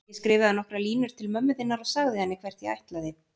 Ég skrifaði nokkrar línur til mömmu þinnar og sagði henni hvert ég ætlaði.